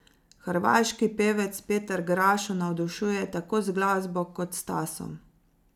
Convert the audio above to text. Hrvaški pevec Petar Grašo navdušuje tako z glasbo kot s stasom.